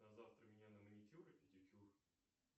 на завтра меня на маникюр и педикюр